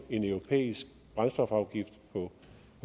en europæisk brændstofafgift på